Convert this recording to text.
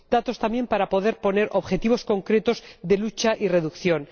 datos también para poder poner objetivos concretos de lucha y reducción